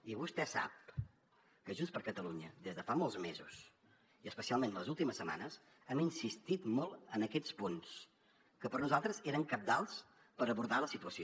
i vostè sap que junts per catalunya des de fa molts mesos i especialment les últimes setmanes hem insistit molt en aquests punts que per nosaltres eren cabdals per abordar la situació